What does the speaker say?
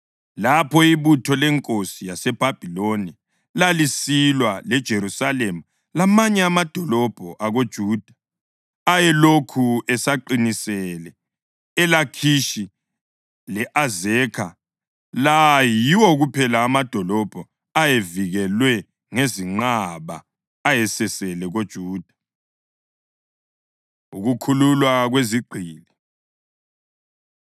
lapho ibutho lenkosi yaseBhabhiloni lalisilwa leJerusalema lamanye amadolobho akoJuda ayelokhu esaqinisele, iLakhishi le-Azekha. La yiwo kuphela amadolobho ayevikelwe ngezinqaba ayesasele koJuda. Ukukhululwa Kwezigqili